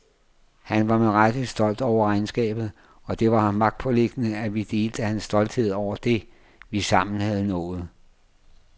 Han var med rette stolt over regnskabet, og det var ham magtpåliggende at vi delte hans stolthed over det, vi sammen havde nået.